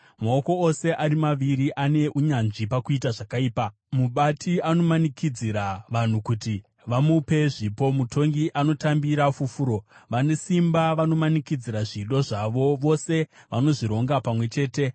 Maoko ose ari maviri ane unyanzvi pakuita zvakaipa; mubati anomanikidzira vanhu kuti vamupe zvipo, mutongi anotambira fufuro, vane simba vanomanikidzira zvido zvavo; vose vanozvironga pamwe chete.